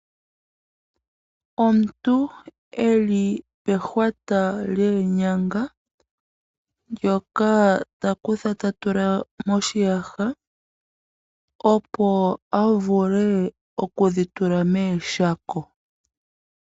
Omuntu eli pehwata lyeenyanga ndyoka takutha tatula moshiyaha opo avule okudhitule meshako.